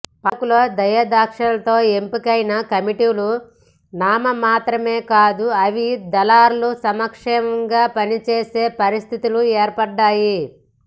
పాలకుల దయాదాక్షిణ్యాలతో ఎంపికైన కమిటీలు నామమాత్రమే కాదు అవి దళారుల సంక్షేమంగా పనిచేసే పరిస్థితులు ఏర్పడ్డాయి